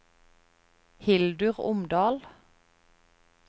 Hildur Omdal